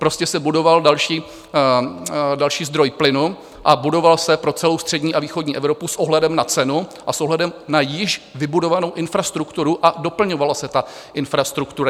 Prostě se budoval další zdroj plynu a budoval se pro celou střední a východní Evropu s ohledem na cenu a s ohledem na již vybudovanou infrastrukturu a doplňovala se ta infrastruktura.